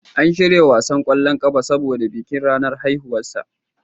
An shirya wasan kwallon ƙafa saboda bikin ranar haihuwarsa.